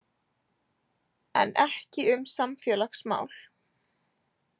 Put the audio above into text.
En ekki um samfélagsmál.